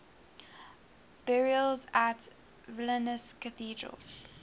burials at vilnius cathedral